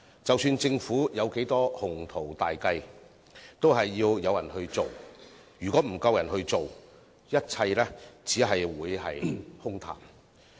即使政府滿腹鴻圖大計，都需要工人來推行，否則所有計劃都只會淪為空談。